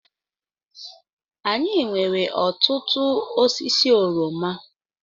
Anyị nwere ọtụtụ osisi oroma.